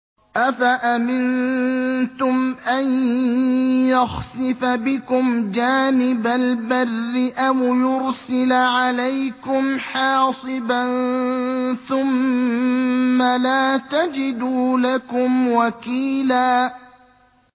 أَفَأَمِنتُمْ أَن يَخْسِفَ بِكُمْ جَانِبَ الْبَرِّ أَوْ يُرْسِلَ عَلَيْكُمْ حَاصِبًا ثُمَّ لَا تَجِدُوا لَكُمْ وَكِيلًا